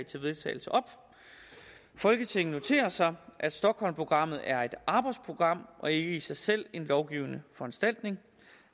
til vedtagelse folketinget noterer sig at stockholmprogrammet er et arbejdsprogram og ikke i sig selv en lovgivende foranstaltning